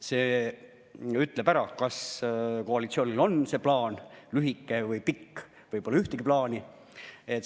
See ütleb ära, kas koalitsioonil on plaan, lühike või pikk, või pole ühtegi plaani.